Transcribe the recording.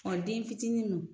den fitinin